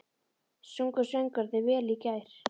Sungu söngvararnir vel í gær?